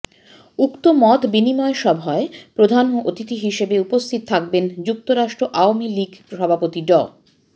উক্ত মতবিনিময় সভায় প্রধান অতিথি হিসাবে উপস্থিত থাকবেন যুক্তরাষ্ট্র আওয়ামী লীগ সভাপতি ড